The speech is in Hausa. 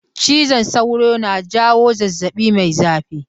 Cizon sauro na jawo zazzaɓi mai zafi.